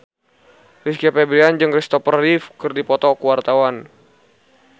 Rizky Febian jeung Christopher Reeve keur dipoto ku wartawan